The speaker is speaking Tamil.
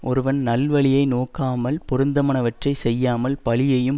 ஒருவன் நல்வழியை நோக்காமல் பொருத்தமனவற்றைச் செய்யாமல் பழியையும்